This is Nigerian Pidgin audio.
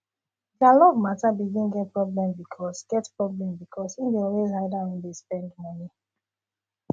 their love matter begin get problem because get problem because he dey always hide how him dey spend money